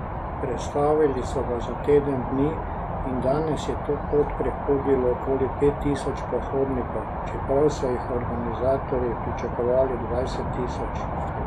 Prestavili so ga za teden dni in danes je to pot prehodilo okoli pet tisoč pohodnikov, čeprav so jih organizatorji pričakovali dvajset tisoč.